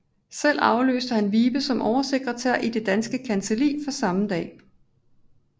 Selv afløste han Vibe som oversekretær i Danske Kancelli fra samme dag